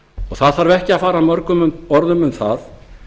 það þarf ekki að fara mörgum orðum um það